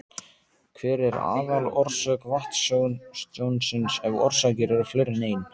Hver er aðalorsök vatnstjónsins, ef orsakir eru fleiri en ein?